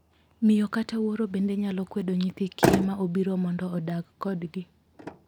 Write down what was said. Miyo kata wuoro bende nyalo kwedo nyithi kiye ma obiro mondo odag kodgi.